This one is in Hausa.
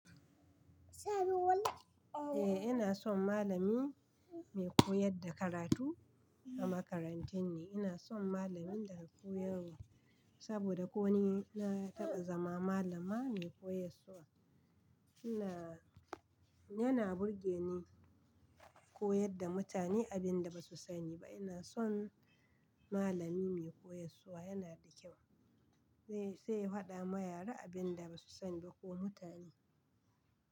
Eh ina son malami mai koyar da karatu a makarantar ne. Ina son malamin da ya koyarwa saboda ko ni na taɓa zama malama mai koyarwa. Ina, yana burge ni koyar da mutane abin da ba su sani ba. Ina son malami mai koyarwa, yana da kyau. Zai, zai hwaɗa ma yara abin da ba su sani ba ko mutane.